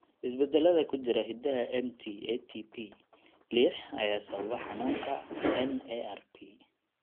Isbeddellada ku jira hiddaha MT ATP lix ayaa sababa xanuunka NARP.